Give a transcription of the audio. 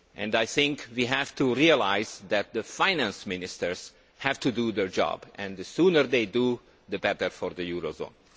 I think we have to realise that the Finance Ministers have to do their job and the sooner they do it, the better for the eurozone.